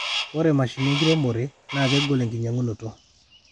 ore mashinini enkiremoe naa kegol enkinyangunoto